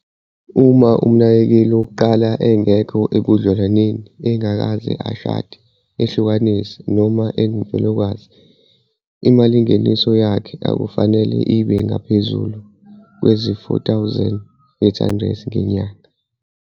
Uma umnakekeli wokuqala engekho ebudlelwaneni engakaze ashade, ehlukanisile noma engumfelokazi, imalingeniso yakhe akufanele ibe ngaphezu kwezi-R4 800 ngenyanga.